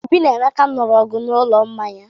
Obi na Emeka lụrụ ọgwụ n'ụlọ mmanya.